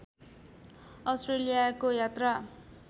अस्ट्रेलियाको यात्रा